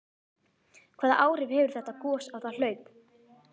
Hvaða áhrif hefur þetta gos á það hlaup?